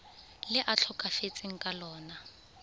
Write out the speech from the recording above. le a tlhokafetseng ka lona